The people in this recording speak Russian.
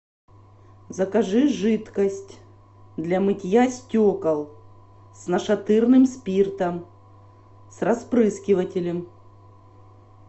закажи жидкость для мытья стекол с нашатырным спиртом с распрыскивателем